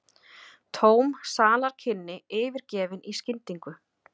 Tóm salarkynni yfirgefin í skyndingu.